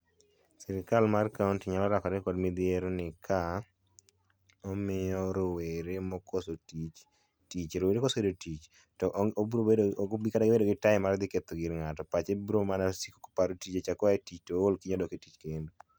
sirikal mar kaunti nyalo rakore kod midhiero ni ka omiyo rowere mokoso tich tichi, rowere koseyudo tich ok obiro bedo kata gi time mar dhi ketho gir ng'ato pache biro mana siko koparo tije cha ka oa e tich to ol kiny odok e tich kendo